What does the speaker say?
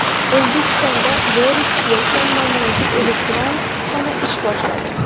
O‘zbekistonda Boris Yelsin nomidagi elektron kutubxona ish boshladi.